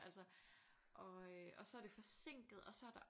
Altså og øh og så er det forsinket og så er der